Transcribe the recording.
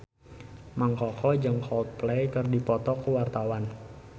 Mang Koko jeung Coldplay keur dipoto ku wartawan